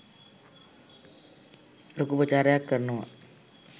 ලොකු ප්‍රචාරයක් කරනවා